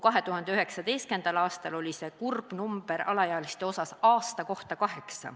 2019. aastal oli see kurb näitaja alaealiste puhul kaheksa terve aasta kohta.